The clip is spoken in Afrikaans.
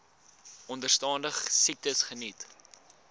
onderstaande siektes geniet